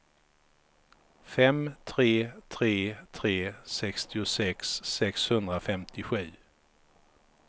fem tre tre tre sextiosex sexhundrafemtiosju